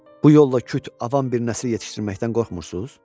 Bu yolla küt avam bir nəsil yetişdirməkdən qorxmursuz?